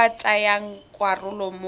ba ba tsayang karolo mo